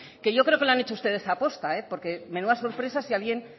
que yo creo que lo han hecho ustedes aposta porque menuda sorpresa si alguien